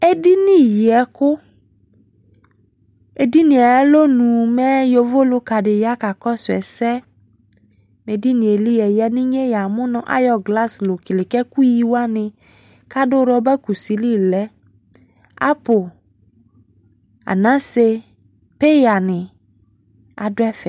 Edini yi ɛku Edinie aya lɔnu mɛ yovo luka de ya ka kɔso ɛsɛ Edinie li ɛya no inye ya mu no ayɔ glass loo kele ko ɛku yi wane ado rɔba kusi li lɛApple, anase peya ne ado ɛfɛ